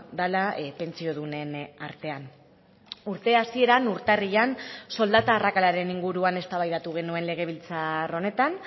dela pentsiodunen artean urte hasieran urtarrilean soldata arrakalaren inguruan eztabaidatu genuen legebiltzar honetan